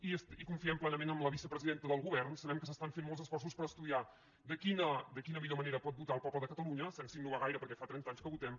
i confiem plenament en la vicepresidenta del govern sabem que s’estan fent molts esforços per estudiar de quina millor manera pot votar el poble de catalunya sense innovar gaire perquè fa trenta anys que votem